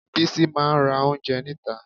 Bísí máa ra oúnjẹ níta